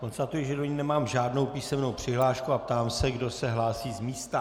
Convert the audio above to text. Konstatuji, že do ní nemám žádnou písemnou přihlášku, a ptám se, kdo se hlásí z místa.